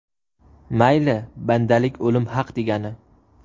Mayli, bandalik o‘lim haq, degani.